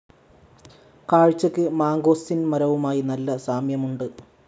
കാഴ്ചക്ക് mangosteen മരവുമായി നല്ല സാമ്യമുണ്ട്.